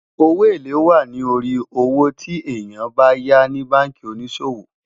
owó élè wà nì orí owó tí èyán bá yá ní bánkì onísòwò